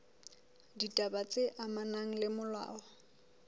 ditaba tse amanang le molao